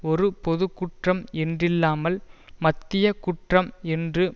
ஒரு பொதுக்குற்றம் என்றில்லாமல் மத்திய குற்றம் என்று